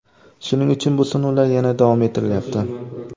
Shuning uchun bu sinovlar yana davom ettirilyapti.